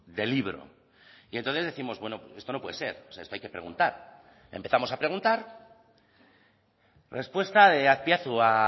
de libro y entonces décimos bueno esto no puede ser esto hay que preguntar empezamos a preguntar respuesta de azpiazu a